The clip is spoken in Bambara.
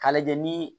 K'a lajɛ ni